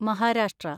Maharashtra